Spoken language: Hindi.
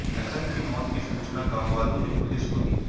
लखन की मौत की सूचना गांववालों ने पुलिस को दी